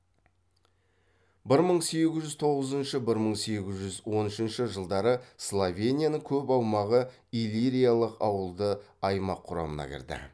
бір мың сегіз жүз тоғызыншы бір мың сегіз жүз он үшінші жылдары словенияның көп аумағы иллириялық ауылды аймақ құрамына кірді